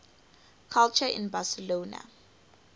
culture in barcelona